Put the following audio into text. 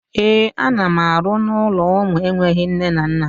Ee, ana m arụ n'ụlọ ụmụ enweghi nne na nna